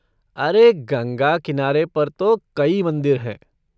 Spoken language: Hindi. अरे, गंगा किनारे पर तो कई मंदिर हैं।